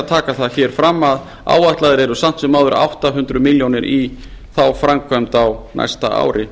að taka hér fram að áætlaðar eru samt sem áður átta hundruð milljóna í þá framkvæmd á næsta ári